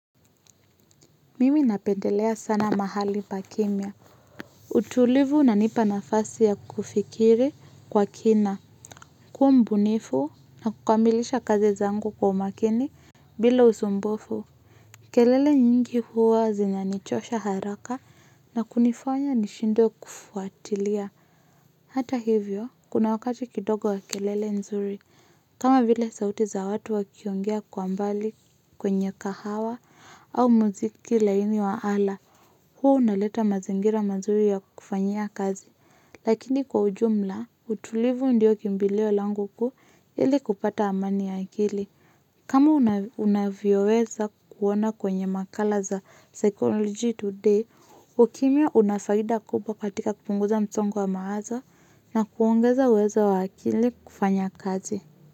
Mimi napendelea sana mahali pa kimya. Utulivu unanipa nafasi ya kufikiri kwa kina. Kuwa mbunifu na kukamilisha kazi zangu kwa umakini bila usumbufu. Kelele nyingi huwa zinanichosha haraka na kunifanya nishindwe kufuatilia. Hata hivyo, kuna wakati kidogo wa kelele nzuri. Kama vile sauti za watu wakiongea kwa mbali kwenye kahawa au muziki laini wa ala. Huwa unaleta mazingira mazuri ya kufanyia kazi, lakini kwa ujumla, utulivu ndiyo kimbilio langu kuu ili kupata amani ya akili. Kama unavyoweza kuona kwenye makala za psychology today, ukimya una faida kubwa katika kupunguza msongo wa mawazo na kuongeza uwezo wa akili kufanya kazi.